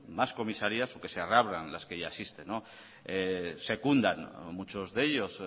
más comisarías o que se reabran las que ya existen secundan muchos de ellos